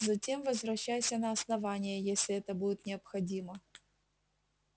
затем возвращайся на основание если это будет необходимо